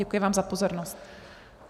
Děkuji vám za pozornost.